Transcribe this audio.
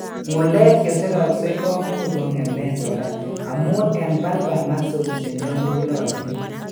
Ng'ulek cheseroksei komuch kong'emet kora amun en bulbar muscles chenyolulotin